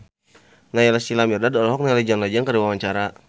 Naysila Mirdad olohok ningali John Legend keur diwawancara